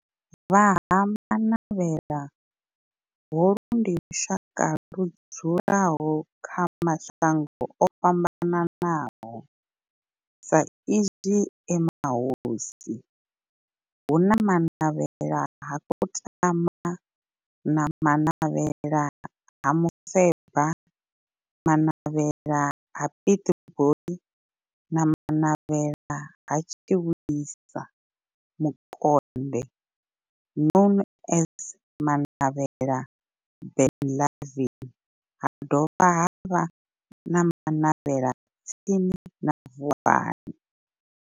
Vha Ha-Manavhela, holu ndi lushaka ludzula kha mashango ofhambanaho sa izwi e mahosi hu na Manavhela ha Kutama, Manavhela ha Mufeba, Manavhela ha Pietboi na Manavhela ha Tshiwisa Mukonde known as Manavhela Benlavin ha dovha havha na Manavhela tsini na Vuwani.